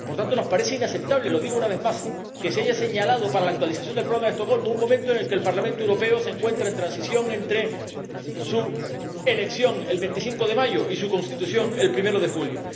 Por tanto, nos parece inaceptable ―lo digo una vez más― que se haya señalado para la actualización del Programa de Estocolmo un momento en el que el Parlamento Europeo se encuentra en transición entre su elección, el 25 de mayo, y su constitución, el primero de julio.